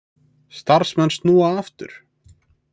Starfsmenn snúa aftur